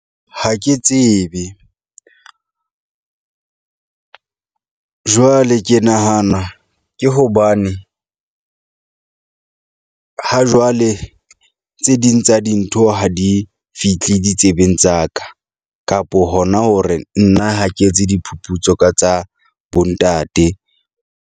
Ha ke tsebe jwale ke nahana ke hobane ha jwale tse ding tsa dintho ha di fithle ditsebeng tsa ka kapo hona hore nna ha ke etse diphuputso ka tsa bo ntate.